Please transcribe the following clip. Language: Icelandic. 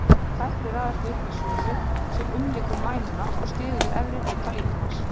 Þessir þættir raðast upp í súlu sem umlykur mænuna og styður við efri hluta líkamans.